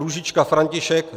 Růžička František